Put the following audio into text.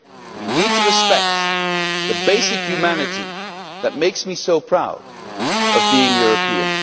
We need to respect the basic humanity that makes me so proud of being European.